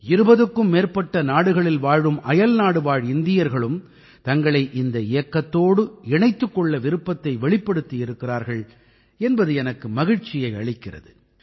20க்கும் மேற்பட்ட நாடுகளில் வாழும் அயல்நாடுவாழ் இந்தியர்களும் தங்களை இந்த இயக்கத்தோடு இணைத்துக் கொள்ளத் விருப்பத்தை வெளிப்படுத்தி இருக்கிறார்கள் என்பது எனக்கு மகிழ்ச்சியை அளிக்கிறது